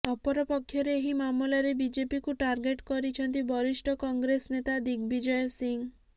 ଅପରପକ୍ଷରେ ଏହି ମାମଲାରେ ବିଜେପିକୁ ଟାର୍ଗେଟ କରିଛନ୍ତି ବରିଷ୍ଠ କଂଗ୍ରେସ ନେତା ଦିଗବିଜୟ ସିଂହ